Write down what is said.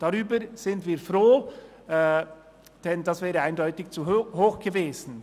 Darüber sind wir froh, denn das wäre eindeutig zu hoch gewesen.